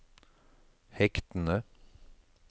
hektene